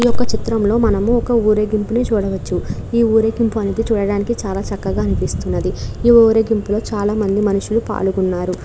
ఈ యొక్క చిత్రం లో మనము ఒక ఊరేగింపును చూడవచ్చు. ఈ ఊరేగింపు మనకి చూడడానికి చాలా చక్కగా అనిపిస్తుంది ఈ ఊరేగింపు లో చాలా మంది మనుషులు పాల్గొన్నారు.